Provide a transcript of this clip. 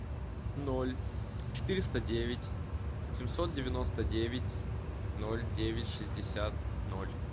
ноль четыреста девять семьсот девяносто девять ноль девять шестьдесят ноль